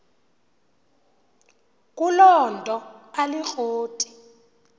kuloo nto alikroti